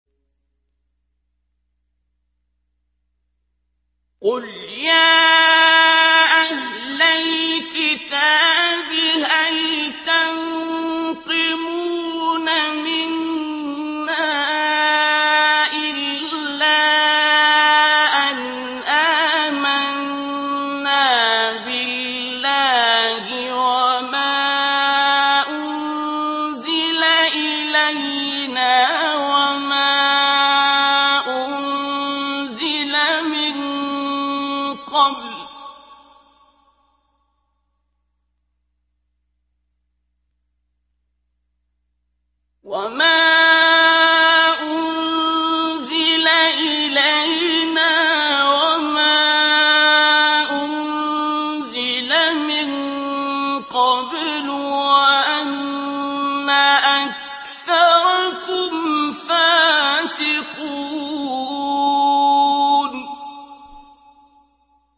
قُلْ يَا أَهْلَ الْكِتَابِ هَلْ تَنقِمُونَ مِنَّا إِلَّا أَنْ آمَنَّا بِاللَّهِ وَمَا أُنزِلَ إِلَيْنَا وَمَا أُنزِلَ مِن قَبْلُ وَأَنَّ أَكْثَرَكُمْ فَاسِقُونَ